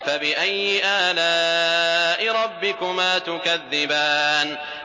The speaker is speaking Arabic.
فَبِأَيِّ آلَاءِ رَبِّكُمَا تُكَذِّبَانِ